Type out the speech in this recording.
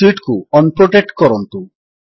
sheet କୁ unprotect କରନ୍ତୁ